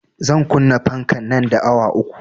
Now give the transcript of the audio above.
Zan kunna fanka nan da awa uku